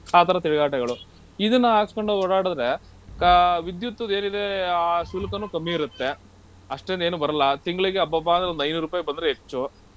ಆ ತರ ತಿರ್ಗಾಟಗಳು ಇದುನ್ನ ಹಾಕ್ಸ್ಕೊಂಡ್ ಓಡಾಡಿದ್ರೆ ಕಾ~ ವಿದ್ಯುತ್ದ್ ಏನಿದೆ ಆ ಶುಲ್ಕನು ಕಮ್ಮಿ ಇರುತ್ತೆ ಅಷ್ಟೊಂದ್ ಏನು ಬರಲ್ಲ. ತಿಂಗ್ಳಿಗೆ ಅಬ್ಬಬ್ಬಾ ಅಂದ್ರೆ ಒಂದ್ ಐನೂರ್ ರುಪೈ ಬಂದ್ರೆ ಹೆಚ್ಚು.